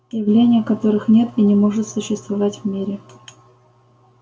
явления которых нет и не может существовать в мире